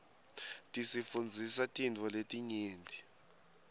tisifundzisa tintfo letinyenti